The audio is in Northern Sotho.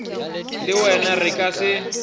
le wena re ka se